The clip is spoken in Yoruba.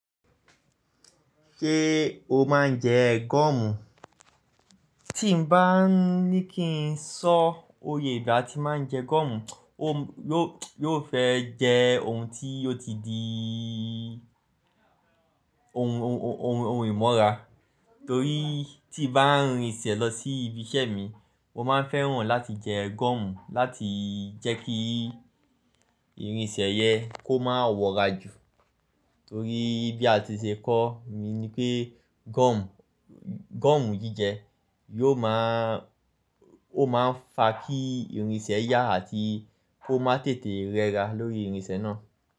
Ṣé o máa ń jẹ gọ́ọ̀mù? Tí n bá ní kí n sọ òye ìgbà tí mo máa ń jẹ gọ́ọ̀mù, ó yóò, yóò fẹ́ jẹ́ ohun tí ó ti di ohun, ohun, ohun ìmọ̀ra torí tí n bá rin ìṣẹ̀ lọ sí ibi iṣẹ́ mi, mo máa ń fẹ́ràn láti jẹ gọ́ọ̀mù láti jẹ́ kí ìrìnsẹ̀ yẹ kó máa wọra jù torí bí a ti ṣe kọ́ mi ní pé gọ́ọ̀mù, gọ́ọ̀mù jíjẹ yoò máa, ó máa ń fa kí ìrìnsẹ̀ yà àti kó má tètè rẹra lórí ìrìnsẹ̀ náà.